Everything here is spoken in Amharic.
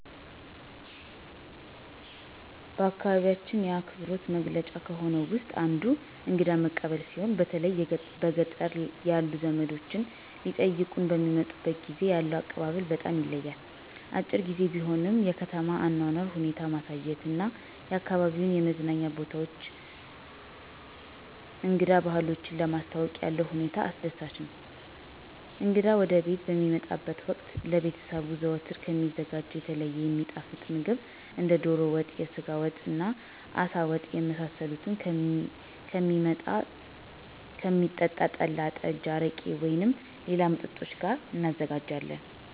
በአካባቢያችን የአክብሮት መገለጫ ከሆነው ውስጥ አንዱ እንግዳ መቀበል ሲሆን በተለይ በገጠር ያሉ ዘመዶቻችን ሊጠይቁን በሚመጡበት ጊዜ ያለው አቀባበል በጣም ይለያል። አጭር ግዜ ቢሆንም የከተማ አኗኗር ሁኔታ ማሳየት እና አካባቢዉን የመዝናኛ ቦታዎችን እንግዳ ባህሎችን ለማስተዋወቅ ያለው ሁኔታ አስደሳች ነው። እንግዳ ወደቤት በሚመጣበት ወቅት ለቤተሰቡ ዘወትር ከሚዘጋጀው የተለየ የሚጣፍጥ ምግብ እንደ ዶሮ ወጥ፣ የስጋ ወጥ፣ አሳ ወጥ የመሳሰሉትን ከሚጠጣ ጠላ፣ ጠጅ፣ አረቄ ወይም ሌላ መጠጥ ጋር እናዘጋጃለን።